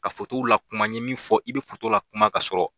Ka la kuma, n ye min fɔ i be la kuma ka sɔrɔ